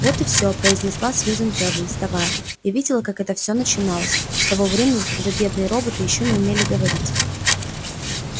вот и всё произнесла сьюзен кэлвин вставая я видела как это всё начиналось с того времени когда бедные роботы ещё не умели говорить